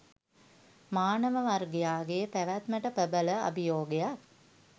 මානව වර්ගයාගේ පැවැත්මට ප්‍රබල අභියෝගයක්